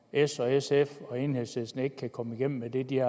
s sf og enhedslisten ikke kan komme igennem med det de